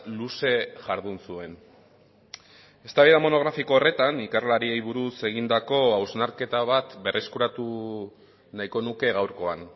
luze jardun zuen eztabaida monografiko horretan ikerlariei buruz egindako hausnarketa bat berreskuratu nahiko nuke gaurkoan